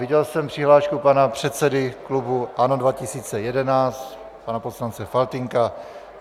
Viděl jsem přihlášku pana předsedy klubu ANO 2011 pana poslance Faltýnka.